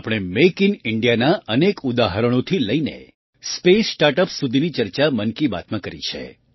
આપણે make in Indiaનાં અનેક ઉદાહરણોથી લઈને સ્પેસ સ્ટાર્ટ યુપીએસ સુધીની ચર્ચા મન કી બાતમાં કરી છે